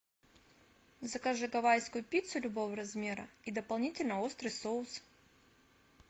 закажи гавайскую пиццу любого размера и дополнительно острый соус